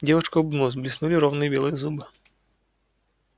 девушка улыбнулась блеснули ровные белые зубы